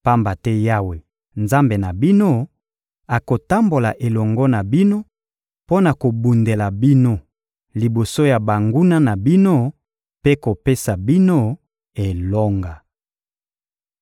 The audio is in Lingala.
Pamba te Yawe, Nzambe na bino, akotambola elongo na bino mpo na kobundela bino liboso ya banguna na bino mpe kopesa bino elonga.»